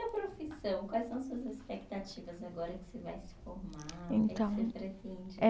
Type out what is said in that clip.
profissão, quais são suas expectativas agora que você vai se formar? Então. Que é que você pretende.